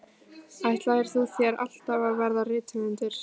Ætlaðir þú þér alltaf að verða rithöfundur?